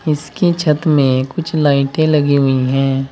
इसके छत में कुछ लाइटें लगी हुई हैं।